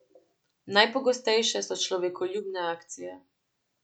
Najpogostejše so človekoljubne akcije.